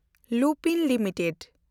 Lupin limited